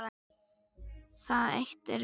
Það eitt er víst.